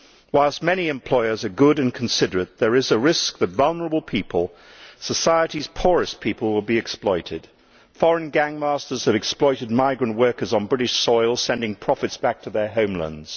Whilst many employers are good and considerate, there is a risk that vulnerable people society's poorest people will be exploited. Foreign gang masters have exploited migrant workers on British soil, sending profits back to their homelands.